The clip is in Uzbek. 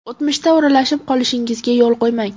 O‘tmishda o‘ralashib qolishingizga yo‘l qo‘ymang.